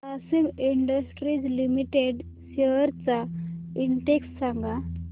Grasim industries limited shares चा index सांगा